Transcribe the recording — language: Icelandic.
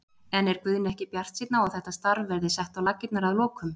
En er Guðni ekki bjartsýnn á að þetta starf verði sett á laggirnar að lokum?